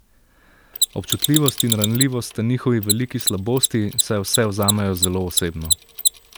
Občutljivost in ranljivost sta njihovi veliki slabosti, saj vse vzamejo zelo osebno.